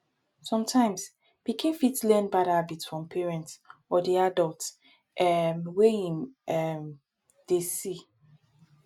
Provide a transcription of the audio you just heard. sometimes pikin fit learn bad habit from parents or di adult um wey im um dey see